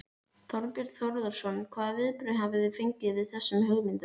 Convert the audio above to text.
Þorbjörn Þórðarson: Hvaða viðbrögð hafið þið fengið við þessum hugmyndum?